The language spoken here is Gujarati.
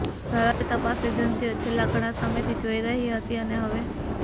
ભારતીય તપાસ એજન્સીઓ છેલ્લા ઘણા સમયથી જોઈ રહી હતી અને હવે